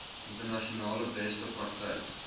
internasionale beste praktyk